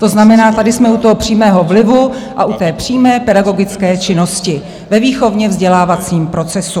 To znamená, tady jsme u toho přímého vlivu a u té přímé pedagogické činnosti ve výchovně-vzdělávacím procesu.